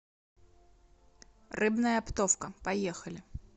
рыбная оптовка поехали